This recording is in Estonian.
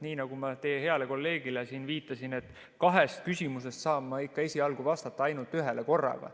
Nii nagu ma teie heale kolleegile siin viitasin, et kahest küsimusest saan ma ikka esialgu vastata ainult ühele korraga.